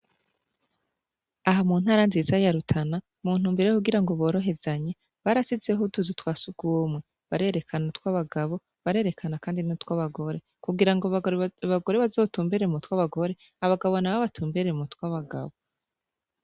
Aha mu ntara nziza ya Rutana, mu ntumbero yo kugira boroherezanye, barashizeho utuzu twa surwumwe. Barerekana utw'abagabo, barerekana kandi n'utw'abagore, kugira abagore bazotumbere mu tw'abagore, abagabo n'abo batumbere m'utw'abagabo.